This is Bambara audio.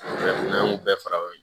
N'an y'o bɛɛ fara ɲɔgɔn kan